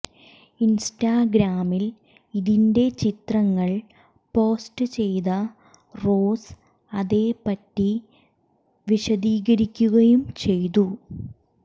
ഇൻസ്റ്റഗ്രാമിൽ ഇതിന്റെ ചിത്രങ്ങൾ പോസ്റ്റ് ചെയ്ത റോസ് അതേ പറ്റി വിശദീകരിക്കുകയും ചെയ്തു